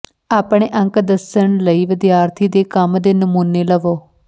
ਆਪਣੇ ਅੰਕ ਦੱਸਣ ਲਈ ਵਿਦਿਆਰਥੀ ਦੇ ਕੰਮ ਦੇ ਨਮੂਨੇ ਲਵੋ